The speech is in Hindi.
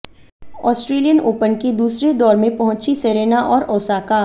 ऑस्ट्रेलियन ओपन के दूसरे दौर में पहुंची सेरेना और ओसाका